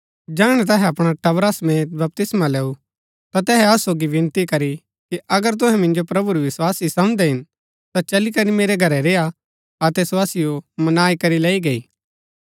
जैहणै तैहै अपणै टबरा समेत बपतिस्मा लैऊ ता तैहै असु सोगी विनती करी कि अगर तुहै मिन्जो प्रभु री विस्वासी समझदै हिन ता चली करी मेरै घरै रेय्आ अतै सो असिओ मनाई करी लैई गई